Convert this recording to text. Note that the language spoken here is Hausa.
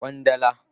Kwandala